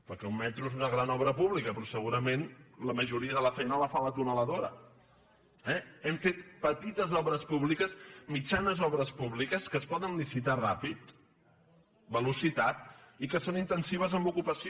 perquè un metro és una gran obra pública però segurament la majoria de la feina la fa la tuneladora eh hem fet pe·tites obres públiques mitjanes obres públiques que es poden licitar ràpid velocitat i que són intensives en ocupació